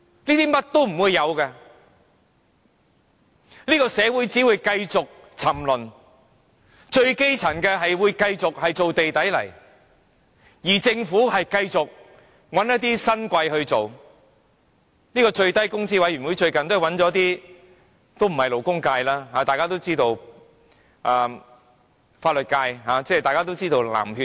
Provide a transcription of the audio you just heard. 這一切都不會有，這個社會只會繼續沉淪，最基層的市民繼續做"地底泥"，而政府將繼續找一些新貴來處理這事，最低工資委員會最近找了一些不屬勞工界的人士加入，大家都知道他們是來自法律界的"藍血"。